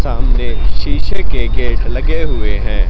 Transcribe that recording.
सामने शीशे के गेट लगे हुए हैं।